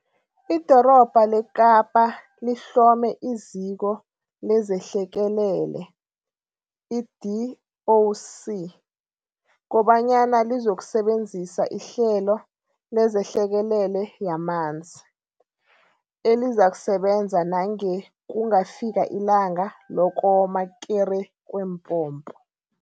Idorobha leKapa lihlome iZiko lezeHlekelele, i-DOC, kobanyana lizokusebenzisa ihlelo LezeHlekelele yamanzi, elizakusebenza nange kungafika iLanga Lokoma Kere Kweempompo.